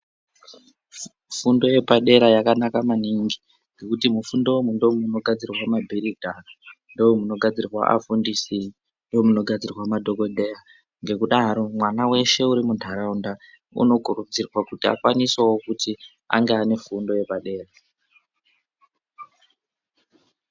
Fundo yepadera yakanaka maningi ngekuti mufundo umu ndomunogadzirwa mabhiridha domunogadzirwa afundisi ndomunogadzirwa madhokodheya ngekudaro mwana weshe uri munharaunda unokurudzirwa kuti ange ane fundo yepadera.